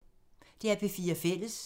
DR P4 Fælles